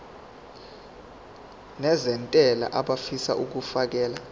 nezentela abafisa uukfakela